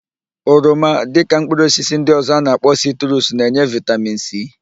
Oroma, dịka mkpụrụosisi ndị ọ̀zọ́ a na-akpọ sitrus na-enye vịtamin sii.